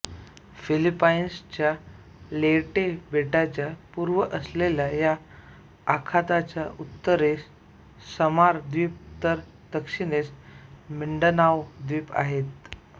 फिलिपाईन्सच्या Leyte बेटाच्या पूर्वेस असलेल्या या आखाताच्या उत्तरेस समार द्वीप तर दक्षिणेस मिंडनाओ द्वीप आहेत